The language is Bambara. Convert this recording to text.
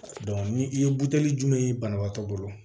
ni i ye buteli jumɛn ye banabaatɔ bolo